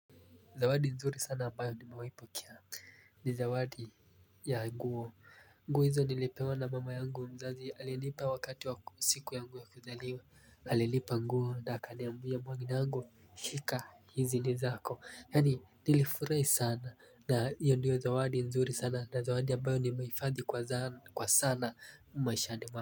Zawadi nzuri sana ambayo nimewai pokea ni zawadi ya nguo nguo hizo nilipewa na mama yangu mzazi alinipa wakati wa siku yangu ya kuzaliwa alinipa nguo na akaniambia mwanangu shika hizi ni zako yaani nilifurai sana na hiyo ndiyo zawadi nzuri sana na zawadi ambayo nimehifadhi kwa sana maishani mwa.